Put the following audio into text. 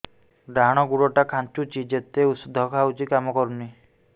ଡାହାଣ ଗୁଡ଼ ଟା ଖାନ୍ଚୁଚି ଯେତେ ଉଷ୍ଧ ଖାଉଛି କାମ କରୁନି